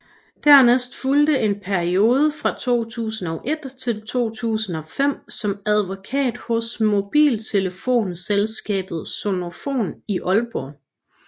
Dernæst fulgte en periode fra 2001 til 2005 som advokat hos mobiltelefonselskabet Sonofon i Aalborg